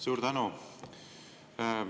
Suur tänu!